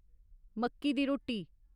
मक्की दी रोटी